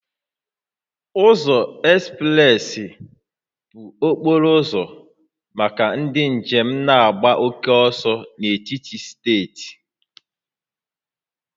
Ụzọ ekspresị bụ okporo ụzọ maka ndị njem na-agba oke ọsọ n'etiti steeti